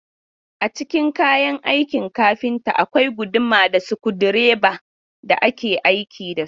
Cikin kayan aikin kafinta akwai guduma da sukudireba da ake aiki da su.